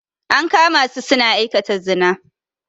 An kama su suna aikata zina.